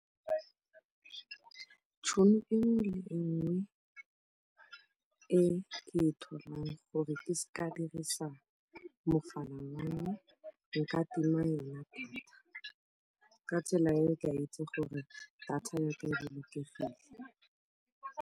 Tšhono e nngwe le e nngwe e ke e tholang gore ke se ka ka dirisa mogala , nka tima yona data, ka tsela eo ke a itse gore data ya me e bolokegile.